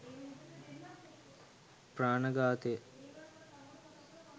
ප්‍රාණඝාතය